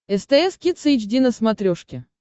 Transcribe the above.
стс кидс эйч ди на смотрешке